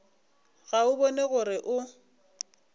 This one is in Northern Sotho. ga o bone gore o